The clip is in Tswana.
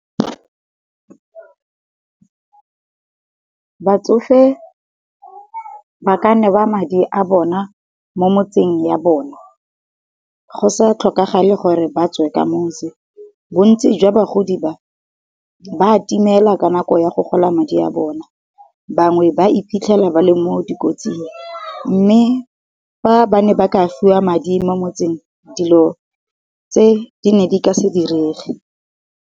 Batsofe ba ka newa madi a bona mo motseng ya bona, go sa tlhokagale gore ba tswe ka motse. Bo ntsi jwa bagodi ba, ba timela ka nako ya go gola madi a bona, bangwe ba iphitlhela ba le mo dikotsing, mme fa ba ne ba ka fiwa madi mo motseng, dilo tse di ne di ka se direge.